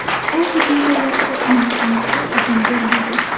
U hujumda yaxshi o‘ynashimizga izn bermadi.